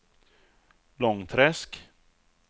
Långträsk